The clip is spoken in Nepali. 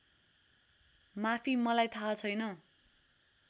माफी मलाई थाहा छैन